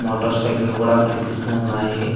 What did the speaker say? Motor cycle కూడా కనిపిస్తూ ఉన్నాయి.